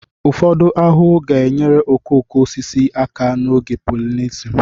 Ụfọdụ ahụhụ ga-enyere okooko osisi aka n'oge polinesun